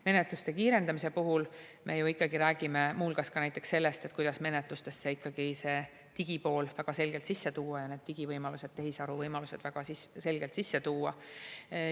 Menetluste kiirendamise puhul me ju räägime muu hulgas ka sellest, kuidas menetlustesse ikkagi see digipool ja need digivõimalused, tehisaru võimalused väga selgelt sisse tuua.